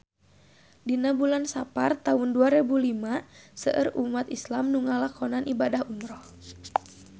Dina bulan Sapar taun dua rebu lima seueur umat islam nu ngalakonan ibadah umrah